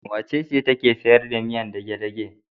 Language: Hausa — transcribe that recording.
Wacece take sayar da miyar dage-dage?